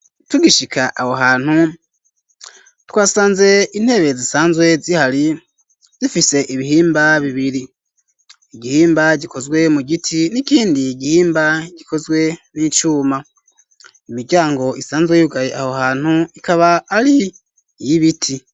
Tugishika aho hantu ,twasanze intebe zisanzwe zihari zifise ibihimba bibiri ,igihimba gikozwe mu giti ,n'ikindi igihimba gikozwe n'icuma, imiryango isanzwe yugaye aho hantu ,ikaba ari y'ibiti.